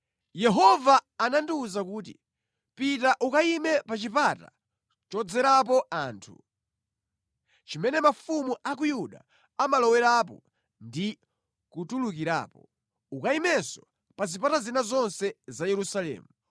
Yehova anandiwuza kuti, “Pita ukayime pa chipata chodzerapo anthu, chimene mafumu a ku Yuda amalowerapo ndi kutulukirapo. Ukayimenso pa zipata zina zonse za Yerusalemu.